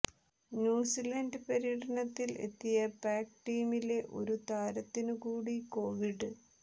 New Zealand പര്യടനത്തിൽ എത്തിയ പാക് ടീമിലെ ഒരു താരത്തിനു കൂടി കൊവിഡ്